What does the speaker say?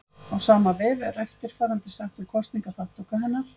Á sama vef er eftirfarandi sagt um kosningaþátttöku hennar: